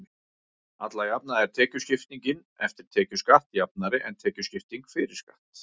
alla jafna er tekjuskiptingin „eftir tekjuskatt“ jafnari en tekjuskipting „fyrir skatt“